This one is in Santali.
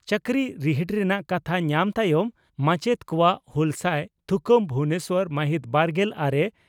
ᱪᱟᱠᱨᱤ ᱨᱤᱦᱤᱴ ᱨᱮᱱᱟᱜ ᱠᱟᱛᱷᱟ ᱧᱟᱢ ᱛᱟᱭᱚᱢ ᱢᱟᱪᱮᱛ ᱠᱚᱣᱟᱜ ᱦᱩᱞᱥᱟᱹᱭ ᱛᱷᱩᱠᱟᱹᱢ ᱵᱷᱩᱵᱚᱱᱮᱥᱚᱨ ᱢᱟᱹᱦᱤᱛ ᱵᱟᱨᱜᱮᱞ ᱟᱨᱮ